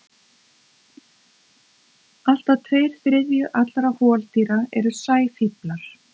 Allt að tveir þriðju allra holdýra eru sæfíflar.